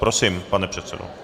Prosím, pane předsedo.